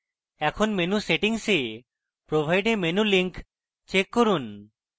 এখন menu settings a provide a menu link check করুন